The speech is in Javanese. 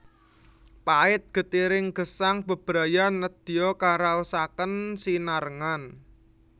Pait getiring gesang bebrayan nedya karaosaken sinarengan